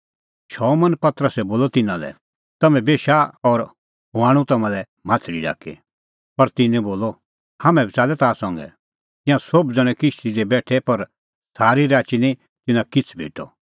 शमौन पतरसै बोलअ तिन्नां लै तम्हैं बेशा और हुंह आणू तम्हां लै माह्छ़ली ढाकी पर तिन्नैं बोलअ हाम्हैं बी च़ाल्लै ताह संघै तिंयां सोभ ज़ण्हैं किश्ती दी बेठै पर सारी राची निं तिन्नां किछ़ भेटअ